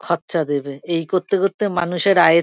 খরচা দেবে। এই করতে করতে মানুষের আয়ের--